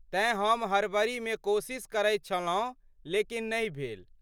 तेँ हम हड़बड़ीमे कोशिश करैत छलहुँ लेकिन नहि भेल।